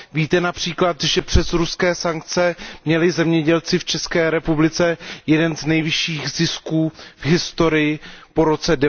Víte například, že přes ruské sankce měli zemědělci v České republice jeden z nejvyšších zisků v historii po roce